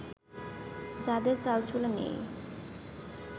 যাঁদের চালচুলা নেই